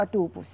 Adubos.